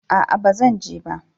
A'a na zan je ba